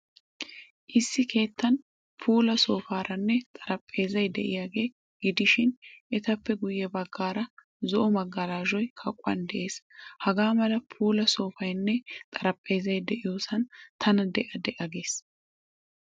Issi keettan puula soofaaraynne xariphpheezzay de'iyaagaa gidishin, etappe guyye baggaara zo'o magalashoy kaquwan de'ees. Hagaa mala puula soofaynne xaraphpheezzay de'iyoosan tana de'a de'a gees.